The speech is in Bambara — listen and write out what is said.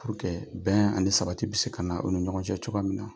bɛn ani sabati bɛ se ka na u ni ɲɔgɔn cɛ cogoya min na.